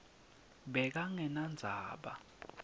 bekangenandzaba